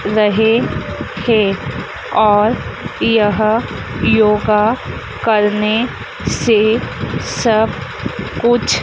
रहे थे और यह योगा करने से सब कुछ--